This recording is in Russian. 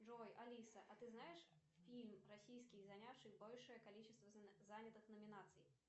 джой алиса а ты знаешь фильм российский занявший большее количество занятых номинаций